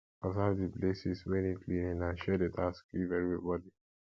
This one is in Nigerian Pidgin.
observe di places wey need cleaning and share de task give everybody